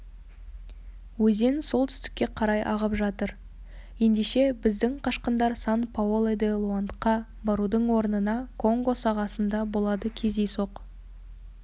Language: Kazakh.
өзен солтүстікке қарай ағып жатыр ендеше біздің қашқындар сан-паоло де-лоандқа барудың орнына конго сағасында болады кездейсоқ